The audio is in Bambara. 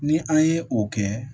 Ni an ye o kɛ